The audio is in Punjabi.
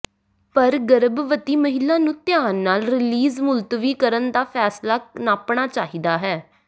ਪਰ ਗਰਭਵਤੀ ਮਹਿਲਾ ਨੂੰ ਧਿਆਨ ਨਾਲ ਰੀਲਿਜ਼ ਮੁਲਤਵੀ ਕਰਨ ਦਾ ਫੈਸਲਾ ਨਾਪਣਾ ਚਾਹੀਦਾ ਹੈ